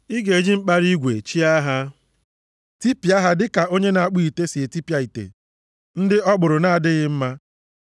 Ị ga-eji mkpara igwe chịa ha, tipịa ha dịka onye na-akpụ ite si etipịa ite ndị ọ kpụrụ na-adịghị mma.”